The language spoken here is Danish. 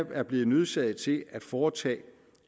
er blevet nødsaget til at foretage